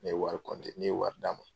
Ne ye wari ne ye wari d'a ma.